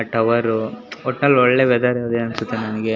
tower ಒಟ್ಟಿನಲ್ಲಿ ಒಳ್ಳೆ weather ಇದೆ ಅನ್ಸುತ್ತೆ ನನಗೆ --